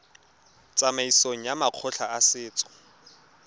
tsamaisong ya makgotla a setso